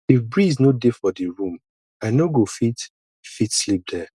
if breeze no dey for di room i no go fit fit sleep there